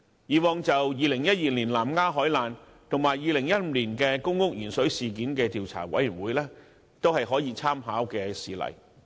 以往就2012年南丫島海難事件和2015年公屋鉛水事件成立的調查委員會，都是可以參考的事例。